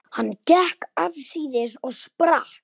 Hann gekk afsíðis og sprakk.